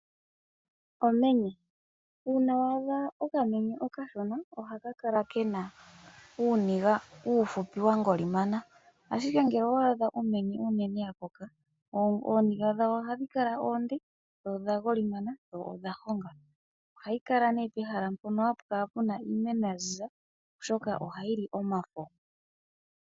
Omenye Uuna wa adha okamenye okashona ohaka kala ke na uuniga uufupi wa golimana, ashike ngele owa adha omenye onene ya koka, ooniga dhawo ohadhi kala oonde, dho odha golimana dho odha honga. Ohadhi kala pomahala mpono hapu kala iimeno ya ziza, oshoka ohayi li omafo.